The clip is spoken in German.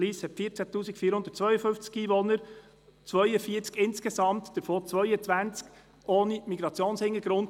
Lyss hat 14 452 Einwohner, 42 Schüler insgesamt, davon 22 ohne Migrationshintergrund;